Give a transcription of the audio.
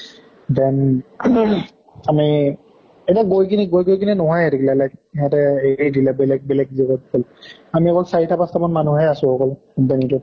then আমি আমি এনে গৈ কিনি গৈ গৈ কিনে নহোৱাই হৈ থাকিলে like, সিহঁতে এৰি এৰি দিলে বেলেগ জেগাত গʼল। আমি অকল চাৰিটা পাছটা মান মানুহে আছো আৰু